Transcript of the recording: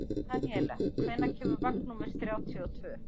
Daníela, hvenær kemur vagn númer þrjátíu og tvö?